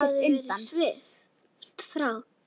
Hulunni hafði verið svipt frá.